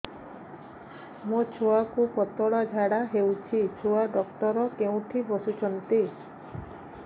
ମୋ ଛୁଆକୁ ପତଳା ଝାଡ଼ା ହେଉଛି ଛୁଆ ଡକ୍ଟର କେଉଁଠି ବସୁଛନ୍ତି